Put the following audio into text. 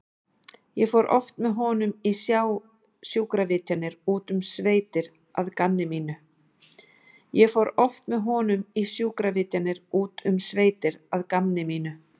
Ég fór oft með honum í sjúkravitjanir út um sveitir að gamni mínu.